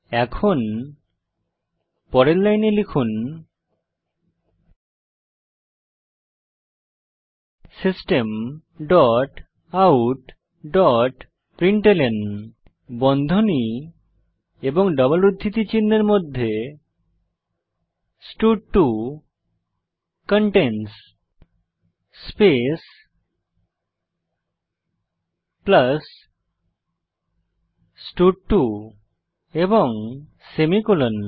এখন পরের লাইনে লিখুন system dot out dot println বন্ধনী ও ডবল উদ্ধৃতি চিনহের মধ্যে স্টাড2 কন্টেইনস স্পেস প্লাস স্টাড2 এবং সেমিকোলন